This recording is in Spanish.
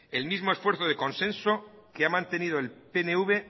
el mismo esfuerzo de consenso que ha mantenido el pnv